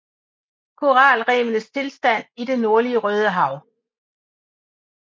Koralrevenes tilstand i det nordlige Rødehav